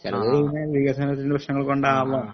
ചെലതുകള് പിന്നെ വികാസനത്തിന്റ പ്രശ്നങ്ങളുകൊണ്ടാവാം